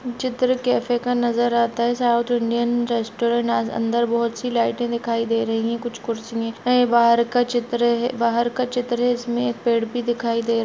चित्र कैफ़े का नज़र आता हैं साउथ इंडियन रेस्टौरेंट अंदर बहोत सी लाइटे दिखाई दे रही हैं कुछ कुर्सिए हैं बाहर का चित्र बाहर का चित्र हैं जिसमे पेड़ भी दिखाई दे रहा--